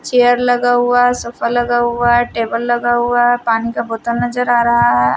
Chair लगा हुआ sofa लगा हुआ है टेबल लगा हुआ है पानी का बोतल नजर आ रहा है।